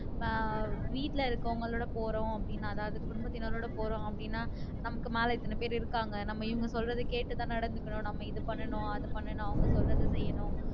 இப்ப வீட்டுல இருக்கவங்களோட போறோம் அப்படின்னா அதாவது குடும்பத்தினரோட போறோம் அப்படின்னா நமக்கு மேல இத்தனை பேர் இருக்காங்க நம்ம இவங்க சொல்றதே கேட்டு தான் நடந்துக்கணும் நம்ம இது பண்ணணும் அது பண்ணணும் அவங்க சொல்றதே செய்யணும்